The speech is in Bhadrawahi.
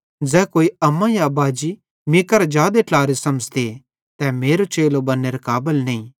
ज़ै कोई अम्मा या बाजी मीं करां जादे ट्लारे समझ़ते तै मेरो चेलो बन्नेरे काबल नईं ते ज़ै कोई मट्ठे या कुइये मीं करां जादे समझ़ते तै भी मेरो चेलो बन्नेरे काबल नईं